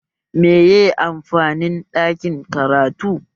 Meye amfanin ɗakin karatu?